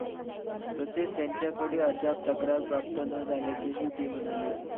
तसेच त्यांच्याकडे अद्याप तक्रार प्राप्त न झाल्याचेही ते म्हणाले.